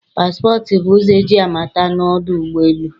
Passport bụ ụzọ eji amata na ọdụ ụgbọ elu